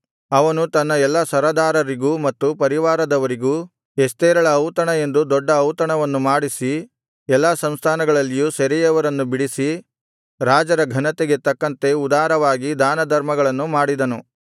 ಅವನು ತನ್ನ ಎಲ್ಲಾ ಸರದಾರರಿಗೂ ಮತ್ತು ಪರಿವಾರದವರಿಗೂ ಎಸ್ತೇರಳ ಔತಣ ಎಂದು ದೊಡ್ಡ ಔತಣವನ್ನು ಮಾಡಿಸಿ ಎಲ್ಲಾ ಸಂಸ್ಥಾನಗಳಲ್ಲಿಯೂ ಸೆರೆಯವರನ್ನು ಬಿಡಿಸಿ ರಾಜರ ಘನತೆಗೆ ತಕ್ಕಂತೆ ಉದಾರವಾಗಿ ದಾನಧರ್ಮಗಳನ್ನು ಮಾಡಿದನು